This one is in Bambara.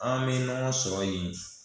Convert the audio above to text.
An bɛ ɲɔgɔn sɔrɔ yen